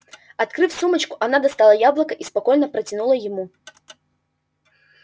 открыв сумочку она достала яблоко и спокойно протянула ему